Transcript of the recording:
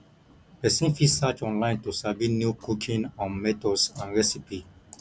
persin fit search online to sabi new cooking um methods and recipe